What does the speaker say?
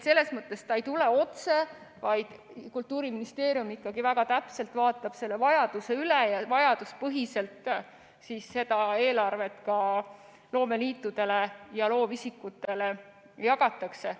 Selles mõttes ei tule see otse, vaid Kultuuriministeerium ikkagi väga täpselt vaatab selle vajaduse üle ja vajaduspõhiselt seda eelarvet loomeliitudele ja loovisikutele jagatakse.